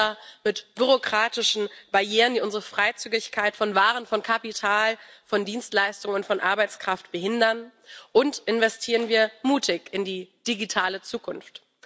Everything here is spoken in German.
Runter mit bürokratischen Barrieren, die unsere Freizügigkeit von Waren, von Kapital, von Dienstleistungen, von Arbeitskraft behindern, und investieren wir mutig in die digitale Zukunft!